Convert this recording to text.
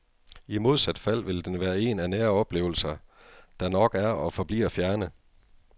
I modsat fald vil den være en af nære oplevelser, der nok er og forbliver fjerne.